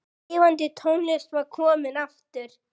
Lifandi tónlist var komin aftur.